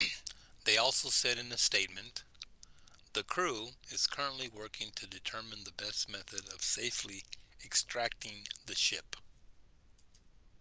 they also said in a statement the crew is currently working to determine the best method of safely extracting the ship